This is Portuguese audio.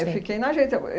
Eu fiquei na agência.